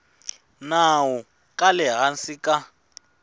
nawu ka le hansi ka